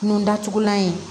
Nun datugulan ye